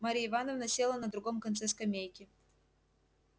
марья ивановна села на другом конце скамейки